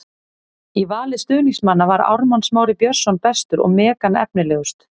Í vali stuðningsmanna var Ármann Smári Björnsson bestur og Megan efnilegust.